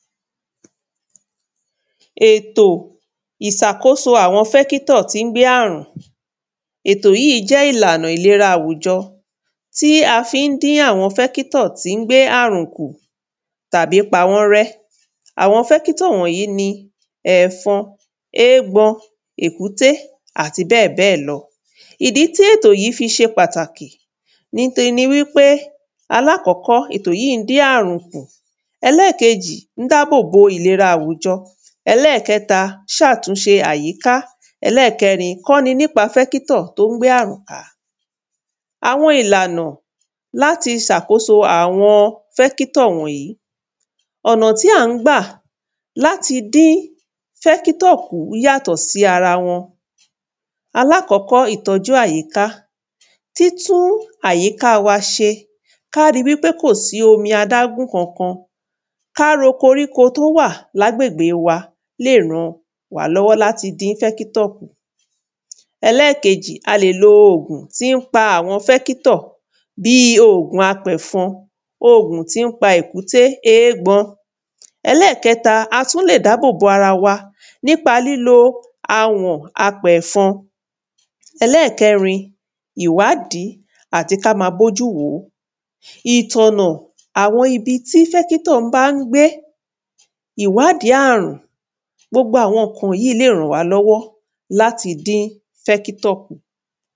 Ètò ìsàkóso àwọn fẹ́kítọ̀ tí ń gbé arùn. Ètò yí jẹ́ ìlànà ìlera àwùjọ tí a fí ń dín fẹ́kítọ̀ tí ń gbé arùn kù tàbí pa wọ́n rẹ́. Àwọn fẹ́kítọ̀ wọ̀nyí ni ẹ̀fọn, égbọn, èkúté, ati bẹ́ẹ̀ bẹ́ẹ̀ lọ. Ìdí tí ètò yí fi ṣe pàtàkì ni te ni wí pé, alákọ́kọ́, ètò yí ń dín àrùn kù. Ẹlẹ́kejì, ‘ń dábòbo ìlera àwùjọ. Ẹlẹ́kẹta, ṣàkóso ìlera àyíká. Ẹlẹ́kẹrin, kọ́ ni nípa fẹ́kítọ̀ t’ó ń gbé arùn ká. Àwọn ìlànà l’áti sàkóso àwọn fẹ́kítọ̀ wọ̀nyí Ọ̀nà tí à ń gbà l’áti dín fẹ́kítọ̀ kù yàtọ̀ sí ara wọn. Alákọ́kọ́, ìtọ́jú àyíká. Títú àyíká wa ṣe. K'á ri wí pé kò sí omi adágún kankan. K'á ro koríko t’ó wà l’agbègbè wa lè ràn wà l’ọ́wọ́ l’áti dín fẹ́kítọ̀ kù. Ẹlẹ́kejì, a lè lo ògùn tí ń pa àwọn fẹ́kítọ̀ bí i ògùn apẹ̀fọn. Ògùn tí ń pa èkúté, égbọn. Ẹlẹ́kẹta, a tú lè dábòbo ara wa nípa lílo awọ̀n apẹ̀fọn Ẹlẹ́kẹrin, ìwádí àti k’á ma bójú wòó. Ìtọ̀nà àwọn ibi tí fẹ́kítọ̀ á ń gbé. Ìwádí àrùn. Gbogbo àwọn ǹkan yí lè ràn wá lọ́wọ́ l’áti dín fẹ́kítọ̀ kù.